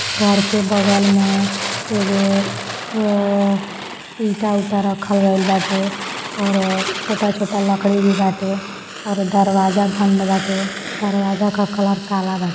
घर के बगल में एगो अ-ईटा उटा रखल गए बाटे और छोटा छोटा लकड़ी भी बाटे और दरवाजा बंद बाटे दरवाजा का कलर काला बाटे।